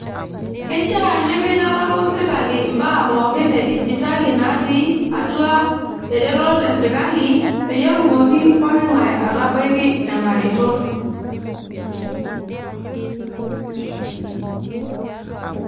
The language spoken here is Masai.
Keishiaa nimitalaku sirkali mbaa pookin edigitali natii atua eretoto esirkali peyie etumoki pooki ngae atabaiki nena retot.